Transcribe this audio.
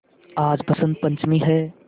आज बसंत पंचमी हैं